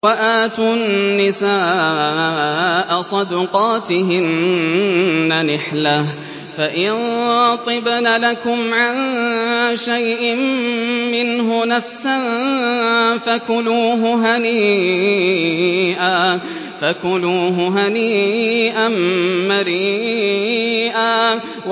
وَآتُوا النِّسَاءَ صَدُقَاتِهِنَّ نِحْلَةً ۚ فَإِن طِبْنَ لَكُمْ عَن شَيْءٍ مِّنْهُ نَفْسًا فَكُلُوهُ هَنِيئًا مَّرِيئًا